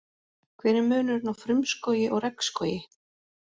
Hver er munurinn á frumskógi og regnskógi?